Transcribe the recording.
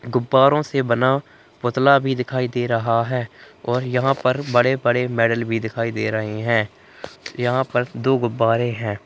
गुब्बारों से बना पुतला भी दिखाई दे रहा है और यहाँ पर बड़े-बड़े मेडल भी दिखाई दे रहे हैं यहाँ पर दो गुब्बारें हैं।